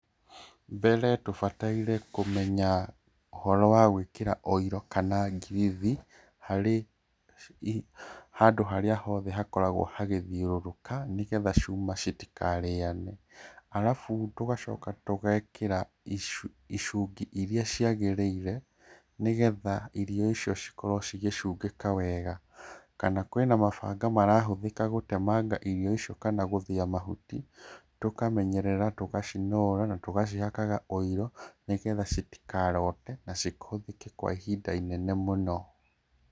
Mbere tũbataire kũmenya ũhoro wa gwĩkĩra ũiro kana ngirithi, harĩ handũ harĩa hothe hakoragwo hagĩthiũrũrũka, nĩgetha cuma citikarĩane. Arabu, tũgacoka tũgekĩra icungi irĩa ciagĩrĩire nĩgetha irio icio cikorwo cigĩcungĩka wega. Kana kwĩna mabanga marahũthĩka gũtemanga irio icio kana gũthĩa mahuti, tũkamenyerera, tũgacinora, na tũgacihakaga ũiro, nĩgetha citikarote, na cihũthĩke kwa ihinda inene mũno.